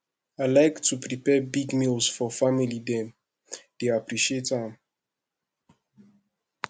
i like to prepare big meals for family dem dey appreciate am